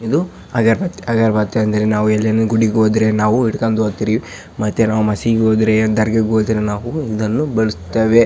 ಇದು ಅಗರಬತ್ತಿ ಅಗರಬತ್ತಿ ಎಂದರೆ ನಾವು ಎಲ್ಲಾನು ಗುಡಿಗೆ ಹೋದರೆ ನಾವು ಹಿಡ್ಕೊಂಡು ಹೋಗ್ತಿವಿ ಮತ್ತೆ ನಾವು ಮಸೀದಿಗೆ ಹೋದ್ರೆ ದರ್ಗಾಕ್ಕೆ ಹೋದರೆ ನಾವು ಇದನ್ನು ಬಳಸುತ್ತೇವೆ .